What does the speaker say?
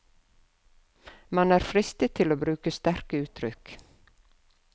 Man er fristet til å bruke sterke uttrykk.